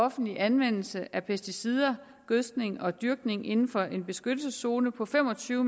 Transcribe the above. offentlig anvendelse af pesticider og gødskning og dyrkning inden for en beskyttelseszone på fem og tyve